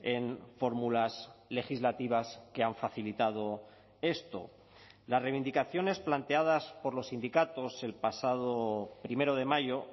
en fórmulas legislativas que han facilitado esto las reivindicaciones planteadas por los sindicatos el pasado primero de mayo